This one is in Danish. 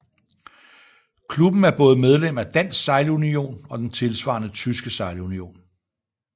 Klubben er både medlem af Dansk Sejlunion og den tilsvarende tyske sejlunion